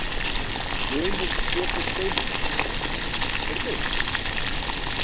Reynir Pétur Steinunnarson: Heyrðu?